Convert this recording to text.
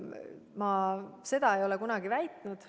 Ma seda ei ole kunagi väitnud.